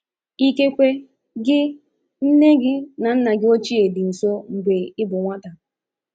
Ikekwe gị, nne gị na nna gị ochie dị nso mgbe ị bụ nwata.